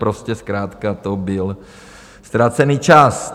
Prostě zkrátka to byl ztracený čas.